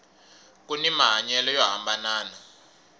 kuni mahanyelo yo hambanana